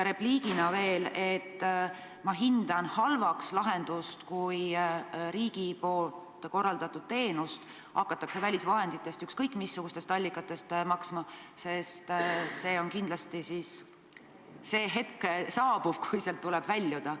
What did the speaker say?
Repliigina veel seda, et ma hindan halvaks lahendust, kui riigi korraldatud teenust hakatakse kinni maksma välisvahenditest, ükskõik missugustest allikatest siis, sest kindlasti saabub hetk, kui tuleb sellest olukorrast väljuda.